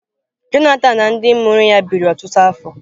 Johnathan na ndị mụrụ ya biri ọtụtụ afọ.